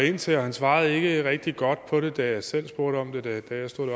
ind til og han svarede ikke rigtig godt på det da jeg selv spurgte om det da jeg stod